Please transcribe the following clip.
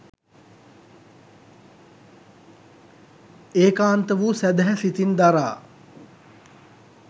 ඒකාන්ත වූ සැදැහැ සිතින් දරා